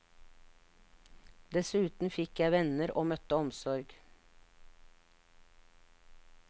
Dessuten fikk jeg venner og møtte omsorg.